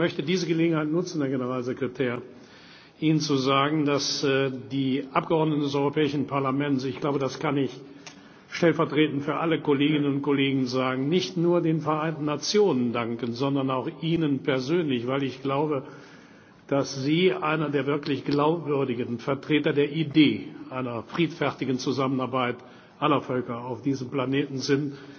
Ich möchte diese Gelegenheit nutzen, Herr Generalsekretär, Ihnen zu sagen, dass die Mitglieder des Europäischen Parlaments ich glaube, das kann ich stellvertretend für alle Kolleginnen und Kollegen sagen nicht nur den Vereinten Nationen danken, sondern auch Ihnen persönlich, weil ich glaube, dass Sie einer der wirklich glaubwürdigen Vertreter der Idee einer friedfertigen Zusammenarbeit aller Völker auf diesem Planeten sind.